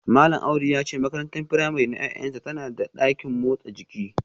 Malam Audu ya ce makarantar firamare na ’ya’yansa tana da dakin motsa jiki